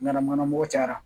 Ɲanamanabugu cayara